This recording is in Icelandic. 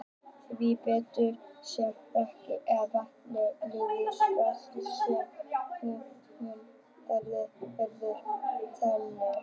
Því betur sem rakinn eða vatnið leiðir rafstraum, þeim mun hraðari verður tæringin.